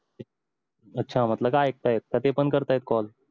अच्छा म्हटल काय ऐकताय तर ते पण करताय call